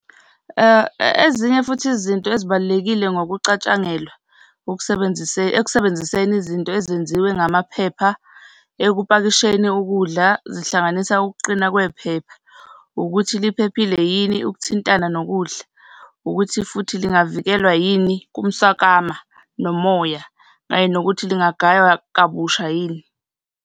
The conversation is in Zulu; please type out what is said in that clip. Ezinye futhi izinto ezibalulekile ngokucatshangelwa ekusebenziseni izinto ezenziwe ngamaphepha ekupakisheni ukudla, zihlanganisa ukuqina kwephepha. Ukuthi liphephile yini ukuthintana nokudla. Ukuthi futhi lingavikelwa yini kumswakama nomoya, kanye nokuthi lingagayiwa kabusha yini.